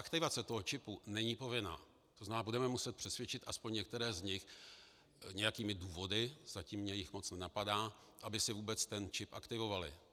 Aktivace toho čipu není povinná, to znamená, budeme muset přesvědčit aspoň některé z nich nějakými důvody, zatím mě jich moc nenapadá, aby si vůbec ten čip aktivovali.